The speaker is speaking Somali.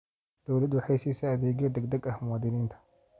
Dawladdu waxay siisaa adeegyo degdeg ah muwaadiniinta.